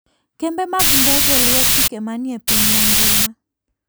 Kembe mag ndege luwo chike manie piny mangima.